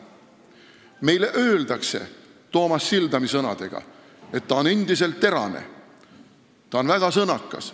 Meile öeldakse Toomas Sildami sõnadega, et ta on endiselt terane, ta on väga sõnakas.